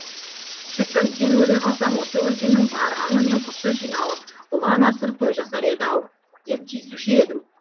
шіркін сен өле қалсаң осы өлкенің бар аңы мен құсы жиналып ұлан асыр той жасар еді ау деп тиісуші едің